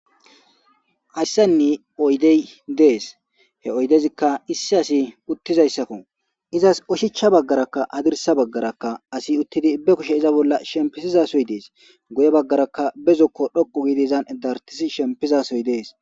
Hayssani oydey dees; he oydezika issi asi uttizaysako; izas oshichcha bagaarakka hadirsa bagaarakka asi uttidi be kushe iza bolla shempisizasoy dees; guye bagaarakka be zokko dhoqqu giidi izan dartissi shempizasoy dees.